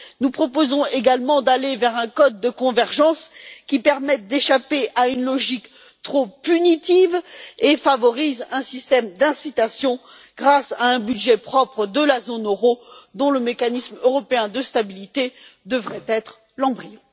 Nous proposons également d'aller vers un code de convergence qui permette d'échapper à une logique trop punitive et qui favorise un système d'incitation grâce à un budget propre de la zone euro, dont le mécanisme européen de stabilité devrait être l'embryon.